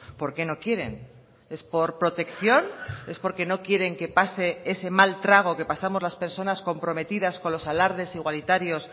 por qué no quieren es por protección es porque no quieren que pase ese mal trago que pasamos las personas comprometidas con los alardes igualitarios